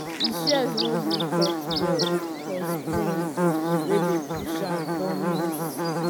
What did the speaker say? di shears no gree cut well 'cause spring wey dey push am don miss.